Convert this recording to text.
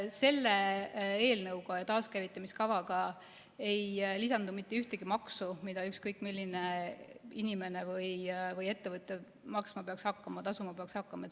Selle eelnõuga ja taaskäivitamise kavaga ei lisandu mitte ühtegi maksu, mida ükskõik milline inimene või ettevõte tasuma peaks hakkama.